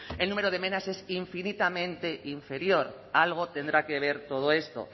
el número de mena es infinitamente inferior algo tendrá que ver todo esto